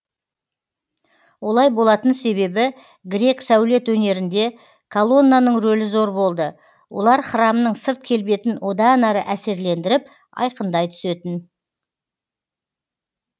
олай болатын себебі грек сәулет өнерінде колоннаның рөлі зор болды олар храмның сырт келбетін одан әрі әсерлендіріп айқындай түсетін